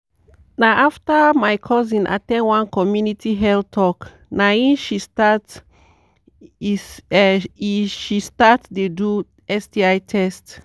na after my cousin at ten d one community health talk na e she start e she start dey do sti test